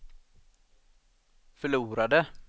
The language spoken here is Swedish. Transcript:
förlorade